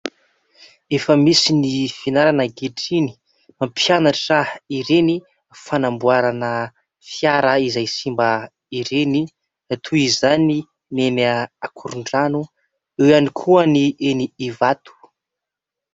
Efa misy ny fianarana ankehitriny mampianatra ireny fanamboarana fiara izay simba ireny toy izany ny eny Ankorondrano, eo ihany koa ny eny Ivato.